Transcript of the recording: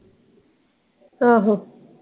ਆਹੋ।